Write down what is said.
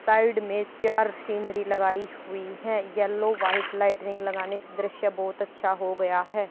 Side में चार scenery लगाई हुई है येलो व्हाइट लाइट रिंग लगाने से दृश्य बहुत अच्छा हो गया है।